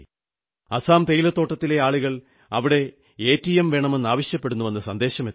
അസമിലെ തേയിലത്തോട്ടങ്ങളിലെ ആളുകൾ അവിടെ എടിഎം വേണമെന്നാവശ്യപ്പെടുന്നുവെന്ന സന്ദേശമെത്തി